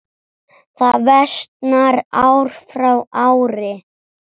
Það versnar ár frá ári.